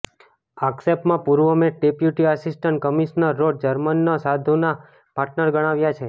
આક્ષેપમાં પૂર્વ મેટ deputy assistant commissioner રોડ જાર્મનને સાંધુના પાર્ટનર ગણાવાયાં છે